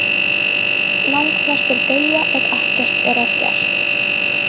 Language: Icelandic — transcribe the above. Langflestir deyja ef ekkert er að gert.